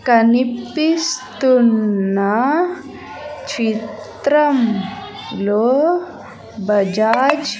కనిపిస్తున్నా చిత్రంలో బజాజ్ --